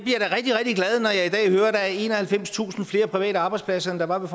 er enoghalvfemstusind flere private arbejdspladser end der var ved